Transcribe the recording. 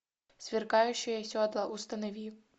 сверкающие седла установи